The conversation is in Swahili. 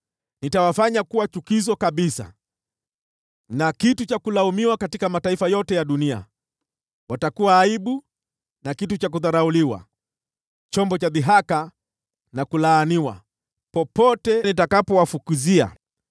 Nitawafanya kuwa chukizo kabisa na kitu cha kulaumiwa katika mataifa yote ya dunia, watakuwa aibu na kitu cha kudharauliwa, chombo cha dhihaka na kulaaniwa, popote nitakapowafukuzia.